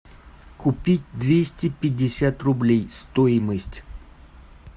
купить двести пятьдесят рублей стоимость